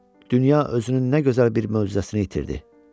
Dünya özünün nə gözəl bir möcüzəsini itirdi.